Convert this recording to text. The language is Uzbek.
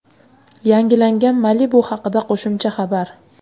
Yangilangan Malibu haqida qo‘shimcha xabar.